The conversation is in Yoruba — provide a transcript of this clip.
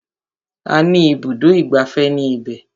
A ní ibùdó ìgbafẹ́ ní ibẹ̀.